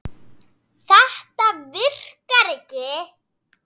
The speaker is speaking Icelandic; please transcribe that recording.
Þetta virkar ekki.